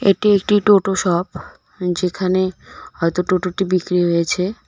এটি একটি টোটো শপ যেখানে হয়তো টোটোটি বিক্রি হয়েছে.